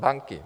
Banky.